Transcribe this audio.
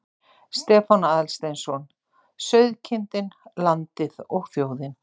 Stefán Aðalsteinsson: Sauðkindin, landið og þjóðin.